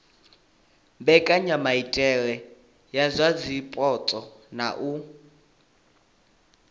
mbekanyamaitele dza zwipotso na u